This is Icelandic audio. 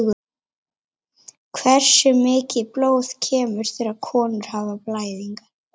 hversu mikið blóð kemur þegar konur hafa blæðingar